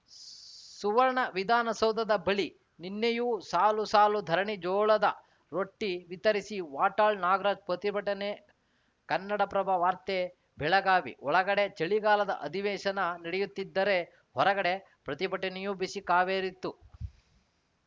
ಸುವರ್ಣ ವಿಧಾನ ಸೌಧದ ಬಳಿ ನಿನ್ನೆಯೂ ಸಾಲುಸಾಲು ಧರಣಿ ಜೋಳದ ರೊಟ್ಟಿವಿತರಿಸಿ ವಾಟಾಳ್‌ ನಾಗರಾಜ್‌ ಪ್ರತಿಭಟನೆ ಕನ್ನಡಪ್ರಭ ವಾರ್ತೆ ಬೆಳಗಾವಿ ಒಳಗಡೆ ಚಳಿಗಾಲದ ಅಧಿವೇಶನ ನಡೆಯುತ್ತಿದ್ದರೆ ಹೊರಗಡೆ ಪ್ರತಿಭಟನೆಯೂ ಬಿಸಿ ಕಾವೇರಿತ್ತು